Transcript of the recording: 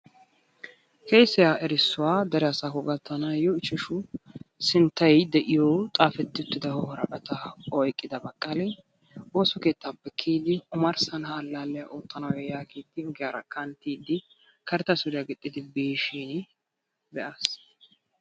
peeshshaa erissuwa dere asaakko gattanaayo ishashu sintay de'iyo xaafuwa woraqataa oykki uttida baqali woossa keettaappe kiyidi omarsan ha alaaliya ootanaayo yagiidi ogiyaara kanttidi karetta suriya gixxidi bishsin be'aas.